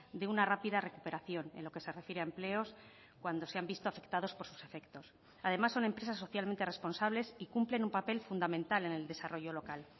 de una rápida recuperación en lo que se refiere a empleos cuando se han visto afectados por sus efectos además son empresas socialmente responsables y cumplen un papel fundamental en el desarrollo local